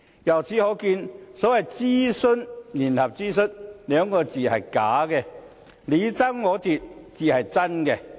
由此可見，所謂"聯合諮詢"這幾個字是假的，你爭我奪才是真的。